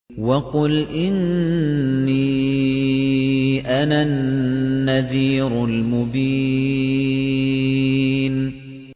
وَقُلْ إِنِّي أَنَا النَّذِيرُ الْمُبِينُ